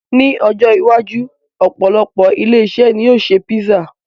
Ní ọjọ́ iwájú, opolopo ilé-iṣẹ́ ni yóò ṣe písà